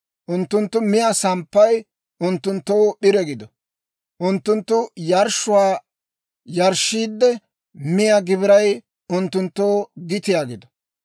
Unttunttu miyaa samppay unttunttoo p'ire gido. Unttunttu yarshshuwaa yarshshiidde, miyaa gibiray unttunttoo gitiyaa gido.